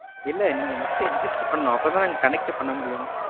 இல்ல நீங்க first register பண்ணனும். அப்பதான் நாங்க connect யே பண்ணமுடியும்.